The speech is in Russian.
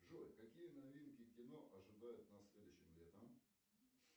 джой какие новинки кино ожидают нас следующим летом